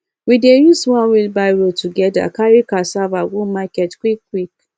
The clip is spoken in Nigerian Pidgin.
we dey use one wheelbarrow together carry cassava go market quick quick